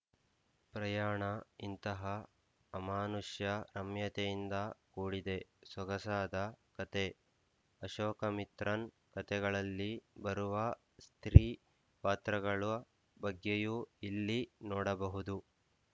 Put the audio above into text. ಪ್ರಯಾಣ ಇಂತಹ ಅಮಾನುಷ್ಯ ರಮ್ಯತೆಯಿಂದ ಕೂಡಿದ ಸೊಗಸಾದ ಕಥೆ ಅಶೋಕಮಿತ್ರನ್ ಕಥೆಗಳಲ್ಲಿ ಬರುವ ಸ್ತ್ರೀ ಪಾತ್ರಗಳ ಬಗ್ಗೆಯೂ ಇಲ್ಲಿ ನೋಡಬಹುದು